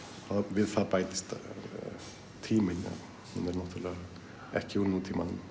við það bætist tíminn hún er náttúrulega ekki úr nútímanum